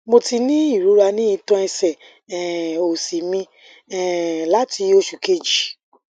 mo ti ní irora ni itan ẹsẹ um osi mi um lati osu keji